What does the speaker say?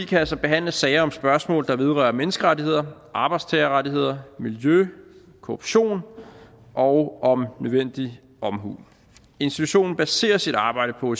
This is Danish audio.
kan altså behandle sager om spørgsmål der vedrører menneskerettigheder arbejdstagerrettigheder miljø korruption og om nødvendig omhu institutionen baserer sit arbejde på